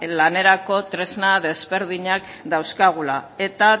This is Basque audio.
lanerako tresna desberdinak dauzkagula eta